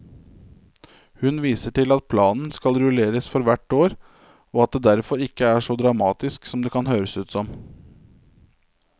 Hun viser til at planen skal rulleres for hvert år og at det derfor ikke er så dramatisk som det kan høres ut som.